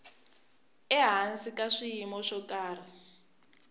ehansi ka swiyimo swo karhi